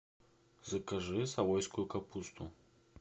закажи савойскую капусту